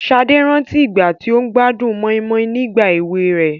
Sade rántí ìgbà tí ó gbádùn moninmonin nígbà èwe rẹ̀.